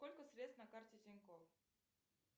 сколько средств на карте тинькофф